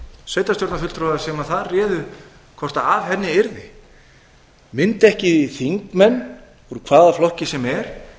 sveitarstjórnarfulltrúa sem þar réðu hvort af henni yrði mundu ekki þingmenn úr hvaða flokki sem er